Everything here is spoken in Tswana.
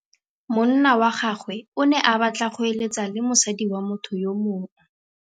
Monna wa gagwe o ne a batla go êlêtsa le mosadi wa motho yo mongwe.